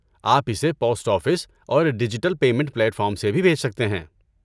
آپ اسے post office اور ڈیجیٹل پیمنٹ پلیٹ فارمس سے بھی بھیج سکتے ہیں۔